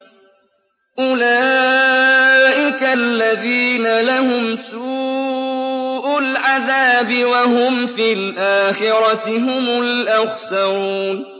أُولَٰئِكَ الَّذِينَ لَهُمْ سُوءُ الْعَذَابِ وَهُمْ فِي الْآخِرَةِ هُمُ الْأَخْسَرُونَ